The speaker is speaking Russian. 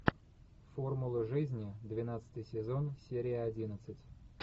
формула жизни двенадцатый сезон серия одиннадцать